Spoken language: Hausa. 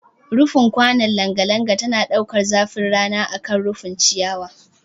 Rufin kwanon langa langa tana ɗaukar zafin rana akan rufin ciyawa